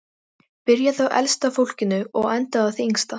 Byrjað á elsta fólkinu og endað á því yngsta.